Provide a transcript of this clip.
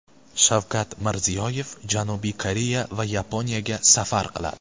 Shavkat Mirziyoyev Janubiy Koreya va Yaponiyaga safar qiladi .